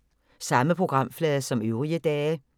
Samme programflade som øvrige dage